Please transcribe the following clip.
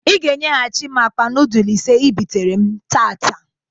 I ga enyegachi m akpa nudul ise I bitere m. tata!